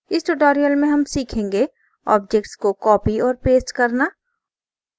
इस tutorial में हम सीखेंगे objects को copy और paste करना